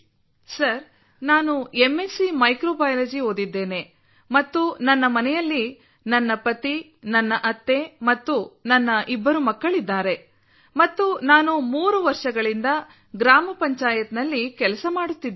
sir ನಾನು MSc microbiology ಓದಿದ್ದೇನೆ ಮತ್ತು ನನ್ನ ಮನೆಯಲ್ಲಿ ನನ್ನ ಪತಿ ನನ್ನ ಅತ್ತೆ ಮತ್ತು ನನ್ನ ಇಬ್ಬರು ಮಕ್ಕಳಿದ್ದಾರೆ ಮತ್ತು ನಾನು ಮೂರು ವರ್ಷಗಳಿಂದ ಗ್ರಾಮ ಪಂಚಾಯತ್ನಲ್ಲಿ ಕೆಲಸ ಮಾಡುತ್ತಿದ್ದೇನೆ